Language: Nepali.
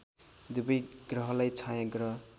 दुबै ग्रहलाई छायाँग्रह